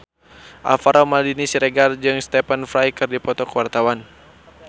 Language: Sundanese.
Alvaro Maldini Siregar jeung Stephen Fry keur dipoto ku wartawan